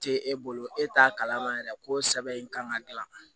Tɛ e bolo e t'a kalama yɛrɛ ko sɛbɛn in kan ka gilan